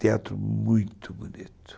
Teatro muito bonito.